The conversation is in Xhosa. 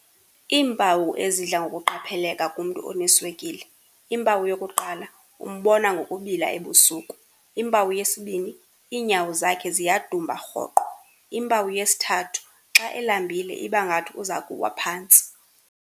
Iimpawu ezidla ngokuqapheleka kumntu oneswekile, impawu yokuqala, umbona ngokubila ebusuku. Impawu yesibini, iinyawo zakhe ziyadumba rhoqo. Impawu yesithathu, xa elambile ibangathi uzakuwa phantsi.